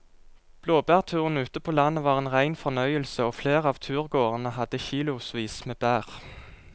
Blåbærturen ute på landet var en rein fornøyelse og flere av turgåerene hadde kilosvis med bær.